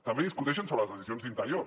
també discuteixen sobre les decisions d’interior